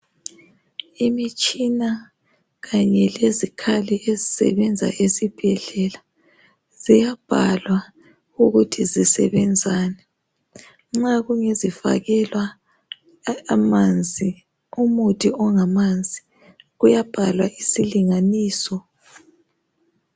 Imitshina kanye lezikhali ezisebenza esibhedlela. Ziyabhalwa ukuthi zisebenzani. Nxa kungezifakelwa a amanzi umuthi ongamanzi uyabhalwa isilinganiso.